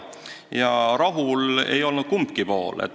Ja rahul pole olnud kumbki pool.